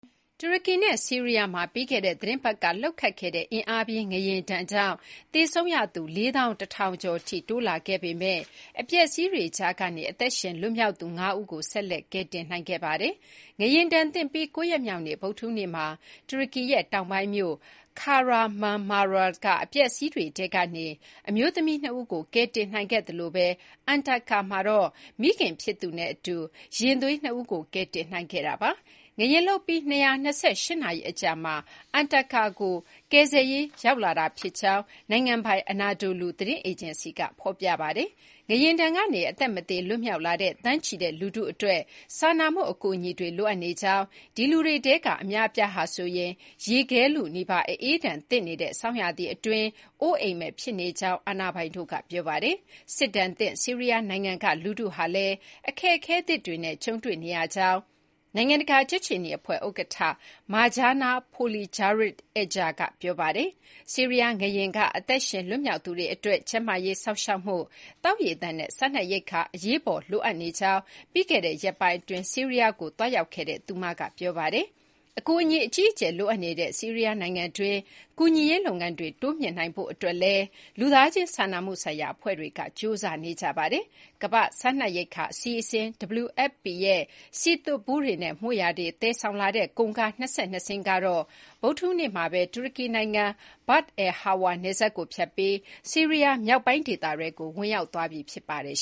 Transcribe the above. တူရကီနဲ့ဆီးရီးယားမှာ ပြီးခဲ့တဲ့သီတင်းပတ်ကလှုပ်ခတ်ခဲ့တဲ့ အင်အားပြင်းငလျင်ဒဏ်ကြောင့် သေဆုံးရသူ ၄၁,၀၀၀ ကျော်ထိ တိုးလာခဲ့ပေမဲ့ အပျက်အစီးတွေကြားကနေ အသက်ရှင်လွတ်မြောက်သူ ၅ ဦးကိုတော့ ဆက်လက် ကယ်တင်နိုင်ခဲ့ပါတယ်။ ငလျင်ဒဏ်သင့်ပြီး ၉ ရက်မြောက်နေ့ ဗုဒ္ဓဟူးနေ့မှာ တူရကီရဲ့တောင်ပိုင်းမြို့ Kahramanmaras က အပျက်အစီးတွေထဲကနေ အမျိုးသမီး ၂ ဦးကို ကယ်တင်နိုင်ခဲ့သလိုပဲ Antakya မှာတော့ မိခင်ဖြစ်သူနဲ့အတူ ရင်သွေး ၂ ဦးကို ကယ်တင်နိုင်ခဲ့ပါတယ်။ ငလျင်လှုပ်ပြီး ၂၂၈ နာရီ အကြာမှာ Antakya ကို ကယ်ဆယ်ရေးလာရောက်တာ ဖြစ်ကြောင်း နိုင်ငံပိုင် Anadolu သတင်းအေဂျင်စီက ဖော်ပြပါတယ်။ ငလျင်ဒဏ်ကနေ အသက်မသေလွတ်မြောက်လာတဲ့ သန်းချီတဲ့လူထုအတွက် စာနာမှု အကူအညီတွေ လိုအပ်နေကြောင်း၊ ဒီလူတွေထဲက အများအပြားဟာ ရေခဲလုနီးပါး အအေးဒဏ်သင့်နေတဲ့ဆောင်းရာသီအတွင်းမှာ အိုးအိမ်မဲ့ဖြစ်နေကြောင်း အာဏာပိုင်တို့က ပြောပါတယ်။ စစ်ဒဏ်သင့် ဆီးရီးယားနိုင်ငံကလူထုဟာလည်း အခက်အခဲသစ်တွေနဲ့ ကြုံတွေ့နေရကြောင်း နိုင်ငံတကာကြက်ခြေနီအဖွဲ့ဥက္ကဋ္ဌ Mirjana Spoljaric Egger က ပြောပါတယ်။ ဆီးရီးယားငလျင်က အသက်ရှင် လွတ်မြောက်သူတွေအတွက် ကျန်းမာရေးစောင့်ရှောက်မှု၊ သောက်ရေသန့်နဲ့ စားနပ်ရိက္ခာတွေ အရေးပေါ်လိုအပ်နေကြောင်း ပြီးခဲ့တဲ့ရက်ပိုင်းအတွင်း ဆီးရီးယားကိုသွားရောက်ခဲ့တဲ့ နိုင်ငံတကာ ကြက်ခြေနီအဖွဲ့ဥက္ကဋ္ဌက ပြောပါတယ်။ အကူအညီ အကြီးအကျယ်လိုအပ်နေတဲ့ ဆီးရီးယားနိုင်ငံတွင်း ကူညီရေးလုပ်ငန်းတွေ တိုးမြှင့်နိုင်ရေးအတွက် လူသားချင် စာနာမှုဆိုင်ရာအဖွဲ့တွေက ကြိုးစားနေကြပါတယ်။ ကမ္ဘာ့စားနပ်ရိက္ခာအစီအစဉ် WFP ရဲ့ စည်သွတ်ဗူးတွေနဲ့ မွေ့ရာတွေသယ်ဆောင်လာတဲ့ ကုန်ကား ၂၂ စင်းကတော့ ဗုဒ္ဓဟူးနေ့မှာ တူရကီနိုင်ငံ Bab al-Hawa နယ်စပ်ကို ဖြတ်ပြီး ဆီးရီးယားမြောက်ပိုင်းဒေသကို ဝင်ရောက်သွားပြီဖြစ်ပါတယ်